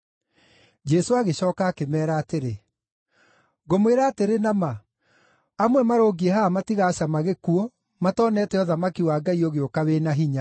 Jesũ agĩcooka akĩmeera atĩrĩ, “Ngũmwĩra atĩrĩ na ma, amwe marũngiĩ haha matigacama gĩkuũ matonete ũthamaki wa Ngai ũgĩũka wĩ na hinya!”